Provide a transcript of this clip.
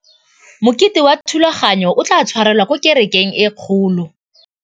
Mokete wa thulaganyôtumêdi o tla tshwarelwa kwa kerekeng e kgolo.